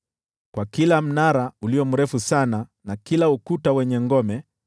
kwa kila mnara ulio mrefu sana na kila ukuta wenye ngome,